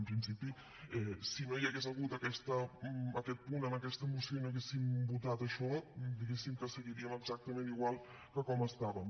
en principi si no hi hagués hagut aquest punt en aquesta moció i no haguéssim votat això diguéssim que seguiríem exactament igual com estàvem